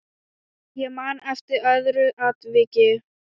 Ég man eftir öðru atviki.